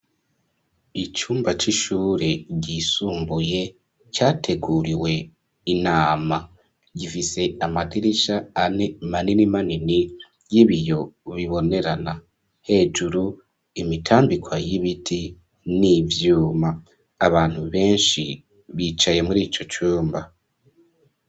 Icumba c'ishure ryisumbuye, categuriwe inama; gifise amadirisha ane manini manini, y'ibiyo bibonerana; hejuru, imitambikwa y'ibiti, n'ivyuma; abantu benshi, bicaye muri ico cumba.